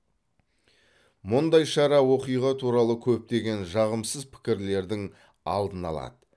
мұндай шара оқиға туралы көптеген жағымсыз пікірлердің алдын алады